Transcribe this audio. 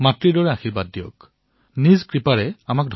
অৰ্থাৎ জলেই হল জীৱনদায়িনী শক্তি উৰ্জাৰ স্ৰোত